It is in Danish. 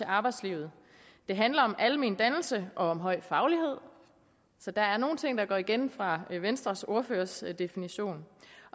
arbejdslivet det handler om almen dannelse og om høj faglighed så der er nogle ting der går igen fra venstres ordførers definition